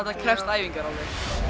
þetta krefst æfingar alveg